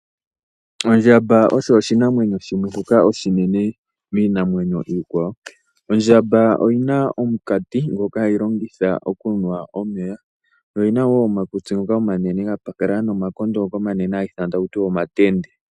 Ondjamba osho oshinamweno shimwe shoka oshinene miinamwenyo iikwawo. Ondjamba oyina omukati ngoka hayi longitha okunwa omeya yo oyina woo omakutsi omanene gapakala nomakondo ngoka omanene haga ithanwa taku tiwa omatende.